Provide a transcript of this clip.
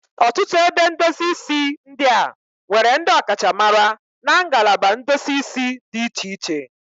Ọtụtụ ebe ndosi isi ndị a nwere ndị ọkachamara na nagalaba ndosi isi dị iche iche.